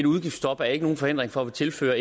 udgiftstop er ikke nogen forhindring for at tilføre